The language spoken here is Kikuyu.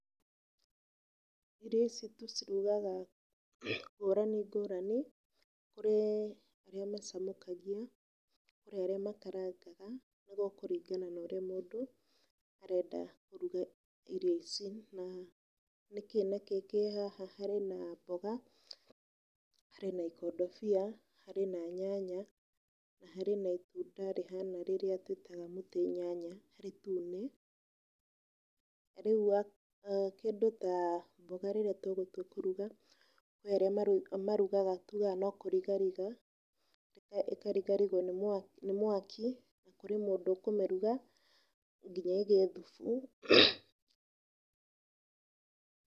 Irio ici tũcirugaga ngũrani ngũrani, kũrĩ arĩa macamũkagia kũrĩ arĩa makarangaga nĩgũkũringana na ũrĩa mũndũ arenda kũrũga irio ici, na nĩkĩ na kĩ kĩ haha? Harĩ na mboga, harĩ na ikondobia, harĩ na nyanya, na harĩ na itunda rĩhana rĩrĩa tũĩtaga mũtĩ nyanya itune. Rĩu kĩndũ ta mboga rĩrĩa tũgũtua kũrũga, kũrĩ arĩa marũgaga tugaga no kũrigariga, ĩkarigarigwo nĩ mwaki, na kũrĩ mũndũ ũkũmĩruga nginya ĩgĩe thubu.